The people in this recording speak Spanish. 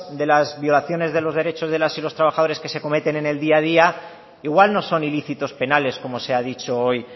de las violaciones de los derechos de las y los trabajadores que se cometen en el día a día igual no son ilícitos penales como se ha dicho hoy